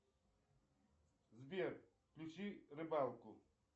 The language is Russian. сбер включи рыбалку